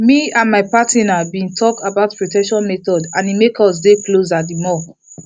me and my partner been talk about protection methods and e make us dey closer the more